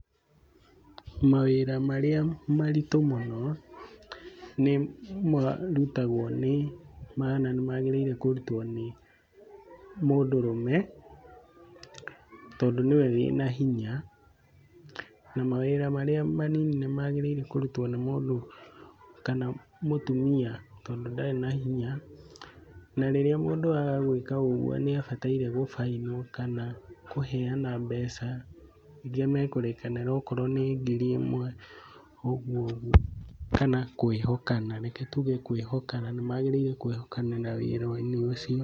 Mawĩra marĩa maritũ mũno, nĩmarutagwo nĩ, kana nĩmagĩrĩire kũrutwo nĩ mũndũrũme tondũ nĩwe wĩna hinya na mawĩra marĩa manini nĩmagĩrĩire kũrutwo nĩ mũndũ kana mũtumia tondũ ndarĩ na hinya. Na rĩrĩa mũndũ aga gwĩka ũgwo nĩabataire gũbainwo kana kũheana mbeca iria mekũrĩkanĩra. Okorwo nĩ ngiri ĩmwe ũguo ũguo , kana kwĩhokana, reke tuge kwĩhokana . Nĩmagĩrĩire kwĩhokana na wĩra-inĩ ũcio.